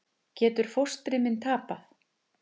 Getur fóstri minn tapað?